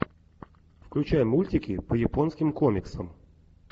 включай мультики по японским комиксам